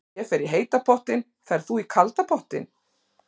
Ég fer í heita pottinn. Ferð þú í kalda pottinn?